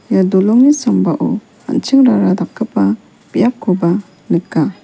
ia dolongni sambao an·chingrara dakgipa biapkoba nika.